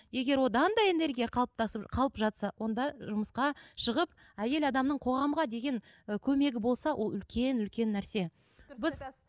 егер одан да энергия қалыптасып қалып жатса онда жұмысқа шығып әйел адамның қоғамға деген ы көмегі болса ол үлкен үлкен нәрсе біз